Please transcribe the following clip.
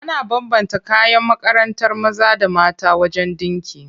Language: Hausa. Ana bambanta kayan makarantar maza da mata wajen ɗinki.